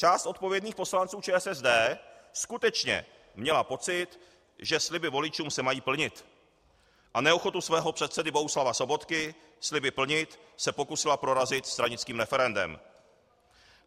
Část odpovědných poslanců ČSSD skutečně měla pocit, že sliby voličům se mají plnit, a neochotu svého předsedy Bohuslava Sobotky sliby plnit se pokusila prorazit stranickým referendem.